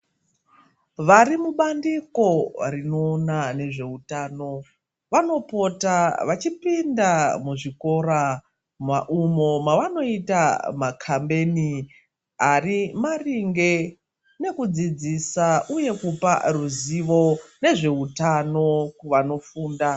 Varimubandiko riona ngezveutano vanopota vachipinda muzvikora mwaumo mwavanoita makameni ari maringe nekudzidzisa uye kupa ruziwo nezveutano kuwanofunda